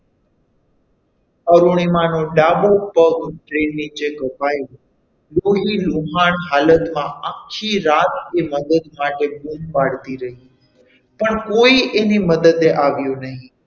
અરુણિમા નો ડાબો પગ train નીચે કપાઈ લોહી લુહાણ હાલતમાં આખી રાત એ મદદ માટે બૂમ પાડતી રહી પણ કોઈ એની મદદ એ આવ્યું નહીં.